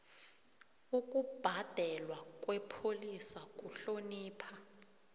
ukubhalelwa kwepholisa kuhlonipha